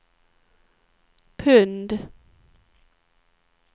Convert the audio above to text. pund